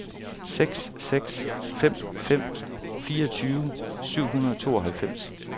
seks seks fem fem fireogtyve syv hundrede og tooghalvfems